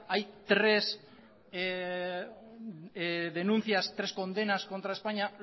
hay tres denuncias tres condenas contra españa